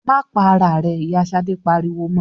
"Má pa ara rẹ!" Ìyá Ṣadé pariwo mọ.